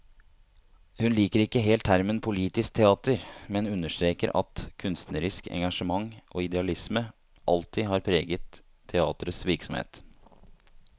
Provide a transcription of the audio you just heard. Hun liker ikke helt termen politisk teater, men understreker at kunstnerisk engasjement og idealisme alltid har preget teaterets virksomhet.